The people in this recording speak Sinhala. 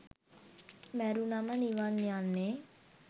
මැරුණම නිවන් යන්නේ